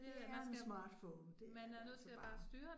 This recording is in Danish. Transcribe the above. Det er en smartphone, det altså bare